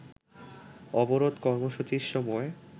অবরোধ কর্মসূচির সময়